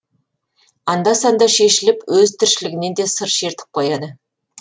анда санда шешіліп өз тіршілігінен де сыр шертіп қояды